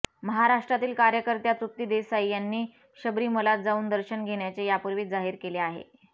महाराष्ट्रातील कार्यकर्त्या तृप्ती देसाई यांनी शबरीमलात जाऊन दर्शन घेण्याचे यापूर्वीच जाहीर केले आहे